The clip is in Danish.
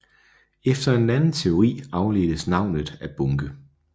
Efter en anden teori afledtes navnet af bunke